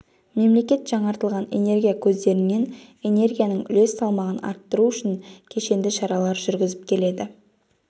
мемлекет жаңартылатын энергия көздерінен энергияның үлес салмағын арттыру үшін кешенді шаралар жүргізіп келеді